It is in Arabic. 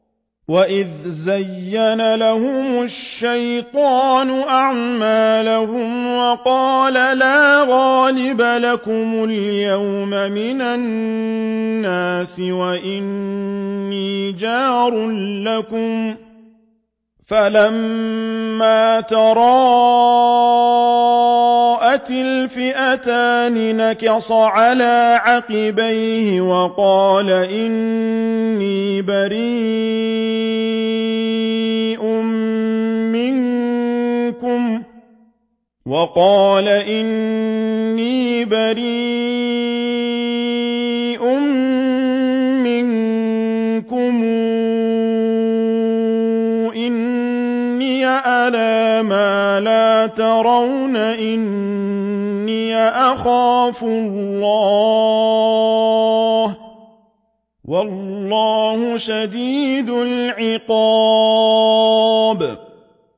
وَإِذْ زَيَّنَ لَهُمُ الشَّيْطَانُ أَعْمَالَهُمْ وَقَالَ لَا غَالِبَ لَكُمُ الْيَوْمَ مِنَ النَّاسِ وَإِنِّي جَارٌ لَّكُمْ ۖ فَلَمَّا تَرَاءَتِ الْفِئَتَانِ نَكَصَ عَلَىٰ عَقِبَيْهِ وَقَالَ إِنِّي بَرِيءٌ مِّنكُمْ إِنِّي أَرَىٰ مَا لَا تَرَوْنَ إِنِّي أَخَافُ اللَّهَ ۚ وَاللَّهُ شَدِيدُ الْعِقَابِ